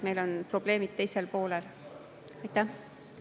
Meil on probleemid pool.